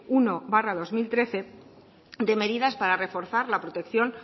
uno barra dos mil trece de medidas para reforzar la protección